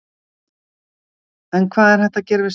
En hvað er hægt að gera við slaufurnar?